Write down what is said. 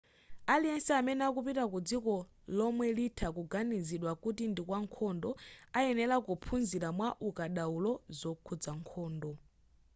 aliyense amene akupita kudziko lomwe litha kuganiziridwa kuti ndikwa nkhondo ayenera kuphunzira mwa ukadaulo zokhuza nkhondo